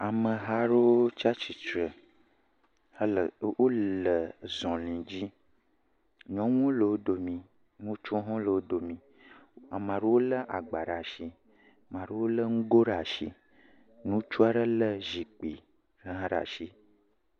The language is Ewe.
Ameha aɖewo tsatsitre hele, wole zɔli dzi, nyɔnuwo le wo domii, ŋutsuwo hã le wo domii, ame aɖewo lé agba ɖe atsi, amea ɖewo lé nugo ɖe atsi, ŋutsu aɖe lé zikpui hã ɖe atsi.